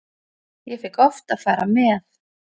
Ég fékk oft að fara með.